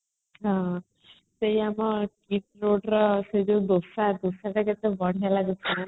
ହଁ ସେଇଆ ପା fixed rate ର ସେଇଯୋଉ ଦୋସା ଡୋସା ଟା କେତେ ବଢିଆ ଲାଗୁଥିଲା